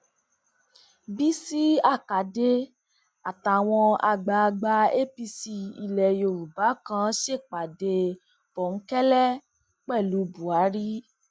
bísí àkàdé àtàwọn àgbààgbà apc ilẹ yorùbá kan ṣèpàdé bòńkẹlẹ pẹlú buhari